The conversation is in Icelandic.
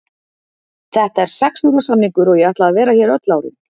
Þetta er sex ára samningur og ég ætla að vera hér öll árin.